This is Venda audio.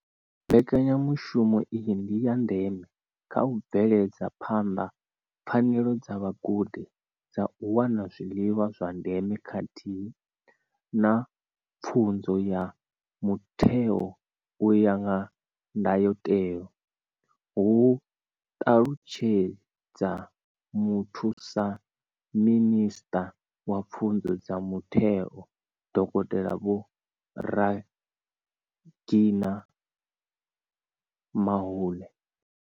Mbekanyamushumo iyi ndi ya ndeme kha u bveledza phanḓa pfanelo dza vhagudi dza u wana zwiḽiwa zwa ndeme khathihi na pfunzo ya mutheo u ya nga ndayotewa, hu ṱalutshedza muthusa minisṱa wa pfunzo dza mutheo, dokotela Vho Reginah Mhaule.